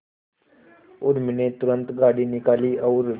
उर्मी ने तुरंत गाड़ी निकाली और